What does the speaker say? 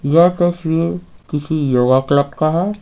यह तसवीर किसी योगा क्लब का है।